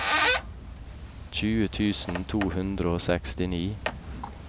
tjue tusen to hundre og sekstini